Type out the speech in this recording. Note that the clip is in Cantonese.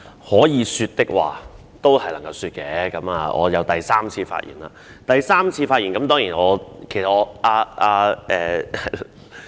可以說的話，總是能夠說的，我已經是第三次發言了。